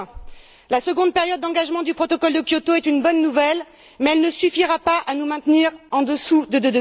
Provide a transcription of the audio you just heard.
2020. La seconde période d'engagement du protocole de Kyoto est une bonne nouvelle, mais elle ne suffira pas à nous maintenir en dessous de